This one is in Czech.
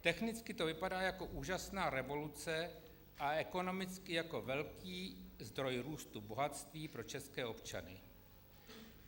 Technicky to vypadá jako úžasná revoluce a ekonomicky jako velký zdroj růstu bohatství pro české občany.